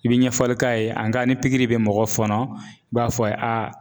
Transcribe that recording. I bɛ ɲɛfɔli k'a ye ni pikiri bɛ mɔgɔ fɔnɔ, i b'a fɔ a ye, a a.